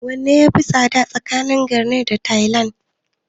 Wanne ya fi tsada tsakanin garanait da tayal?